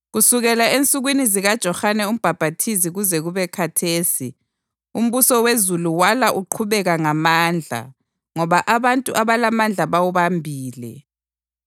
Kusukela ensukwini zikaJohane uMbhaphathizi kuze kube khathesi, umbuso wezulu wala uqhubeka ngamandla ngoba abantu abalamandla bawubambile.